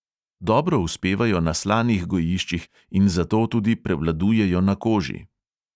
Dobro uspevajo na slanih gojiščih in zato tudi prevladujejo na koži.